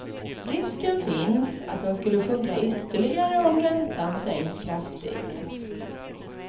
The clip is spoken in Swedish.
Risken finns att den skulle sjunka ytterligare om räntan sänks kraftigt.